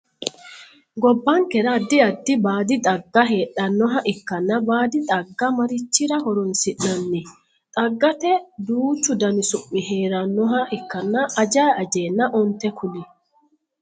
Gobbankera addi addi baadi xagga hedhanoha ikanna baadi xagga marichira horoonsi'nanni? Xaggate duuchu Danni su'mi heeranoha ikkanna ajayi ajeenna onte kuli.